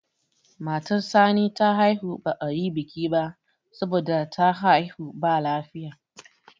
matar Sani ta haihu ba a yi biki ba saboda ta haihu ba lafiya